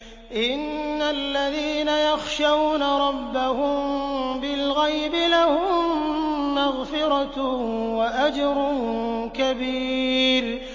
إِنَّ الَّذِينَ يَخْشَوْنَ رَبَّهُم بِالْغَيْبِ لَهُم مَّغْفِرَةٌ وَأَجْرٌ كَبِيرٌ